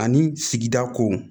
Ani sigida kow